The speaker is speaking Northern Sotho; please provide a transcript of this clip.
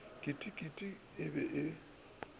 keiting keiti e be e